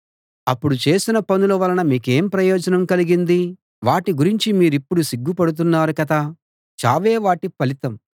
అప్పుడు చేసిన పనుల వలన మీకేం ప్రయోజనం కలిగింది వాటి గురించి మీరిప్పుడు సిగ్గుపడుతున్నారు కదా చావే వాటి ఫలితం